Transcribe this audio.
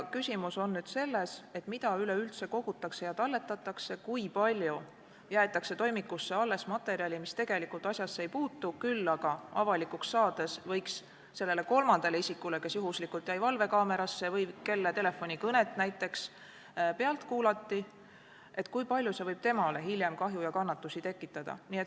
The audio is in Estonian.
Küsimus on selles, mida üleüldse kogutakse ja talletatakse, st kui palju jäetakse toimikusse alles materjali, mis tegelikult asjasse ei puutu, kuid hiljem, avalikuks saades võiks tekitada kahju ja kannatusi sellele kolmandale isikule, kes näiteks jäi juhuslikult valvekaamera pildile või kelle telefonikõnet kuulati pealt.